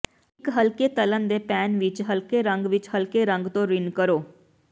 ਇੱਕ ਹਲਕੇ ਤਲ਼ਣ ਦੇ ਪੈਨ ਵਿੱਚ ਹਲਕੇ ਰੰਗ ਵਿੱਚ ਹਲਕੇ ਰੰਗ ਤੋਂ ਰਿੰਨ ਕਰੋ